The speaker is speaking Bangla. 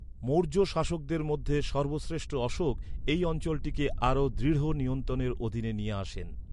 মৌর্য শাসকদের মধ্যে সর্বশ্রেষ্ঠ অশোক এই অঞ্চলটিকে আরও দৃঢ় নিয়ন্ত্রণের অধীনে নিয়ে আসেন।